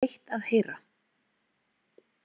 Það var leitt að heyra.